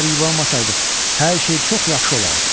Əgər yubanmasaydıq, hər şey çox yaxşı olardı.